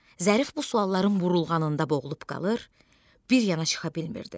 Zərif bu sualların burulğanında boğulub qalır, bir yana çıxa bilmirdi.